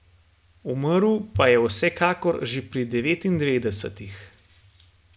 Umrl pa je vsekakor že pri devetindevetdesetih.